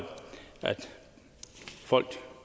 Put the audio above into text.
folk